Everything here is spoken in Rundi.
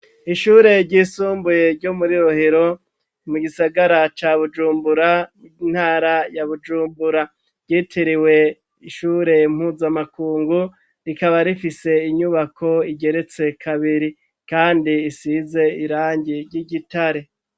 Ishure ry'isumbuye ryo muri rohero, mu gisagara ca bujumbura ,intara ya bujumbura, ryitiriwe ishure mpuzamakungu, rikaba rifise inyubako igeretse kabiri, kandi isize irangi ry'igitare.